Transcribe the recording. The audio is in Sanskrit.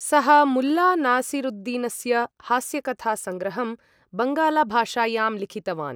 सः मुल्ला नासिरुद्दीनस्य हास्यकथासंग्रहं बङ्गालाभाषायां लिखितवान्।